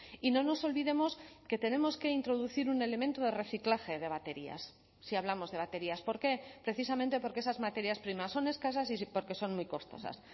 y no nos olvidemos que tenemos que introducir un elemento de reciclaje de baterías si hablamos de baterías por qué precisamente porque esas materias primas son escasas y porque son muy costosas